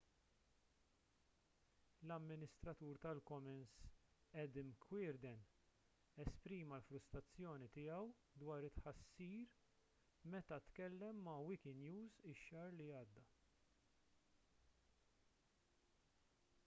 l-amministratur tal-commons adam cuerden esprima l-frustrazzjoni tiegħu dwar it-tħassir meta tkellem ma' wikinews ix-xahar li għadda